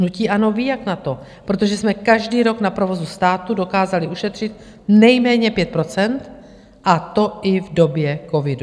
Hnutí ANO ví, jak na to, protože jsme každý rok na provozu státu dokázali ušetřit nejméně 5 %, a to i v době covidu.